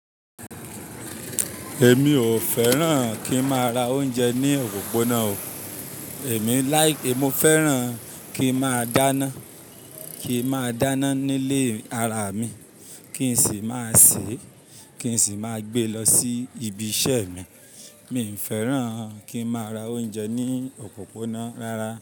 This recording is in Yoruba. Èmi ò fẹ́ràn kí n máa ra oúnjẹ ní òpópónà o. Èmi like, mo fẹ́ràn kí n máa dáná, kí n máa dáná nílé ara mi kí n sì máa sè, kí n sì máa gbé lọ sí ibi iṣẹ́ mi. Mi fẹ́ràn kí n máa ra oúnjẹ ní òpópónà rárá.